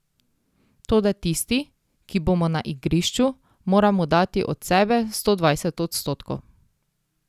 Toda tisti, ki bomo na igrišču, moramo dati od sebe sto dvajset odstotkov.